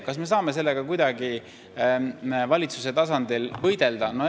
Kas me saame sellega kuidagi valitsuse tasandil võidelda?